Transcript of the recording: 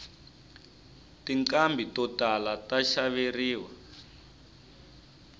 tinqhambi to tala ta xaveriwa